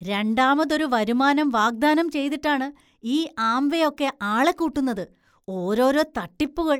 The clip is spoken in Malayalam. രണ്ടാമതൊരു വരുമാനം വാഗ്ദാനം ചെയ്തിട്ടാണ് ഈ ആംവേ ഒക്കെ ആളെ കൂട്ടുന്നത്; ഓരോരോ തട്ടിപ്പുകൾ!